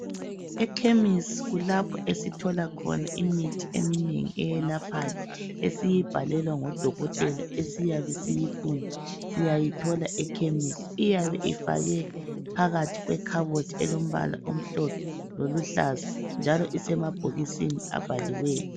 Ekhemisi kulapho esithola khona imithi eminengi eyelaphayo, esiyibhalelwa ngodokotela esiyabe siyifuna siyayithola ekhemisi. Iyabe ifakwe phakathi kwekhabothi elombala omhlophe loluhlaza njalo isemabhokisini abhaliweyo.